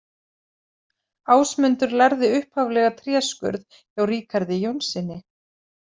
Ásmundur lærði upphaflega tréskurð hjá Ríkarði Jónssyni.